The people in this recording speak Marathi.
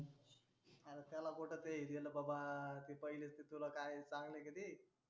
आरे त्याला कुठं ते हे केलं बाबा. आरे पहिलेच ते तुला काय चांगलं आहे का ते.